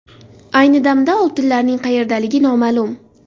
Ayni damda oltinlarning qayerdaligi noma’lum.